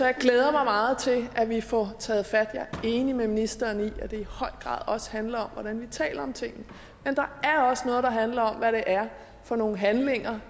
jeg glæder mig meget til at vi får taget fat jeg er enig med ministeren i at det i høj grad handler om hvordan vi taler om ting men der er også noget der handler om hvad det er for nogle handlinger